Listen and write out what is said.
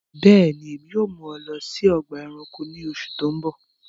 Bẹẹni, ẹ̀mi yóò mú mi lọ sí ọgba ẹ̀ránkò ní òṣù tó ń bọ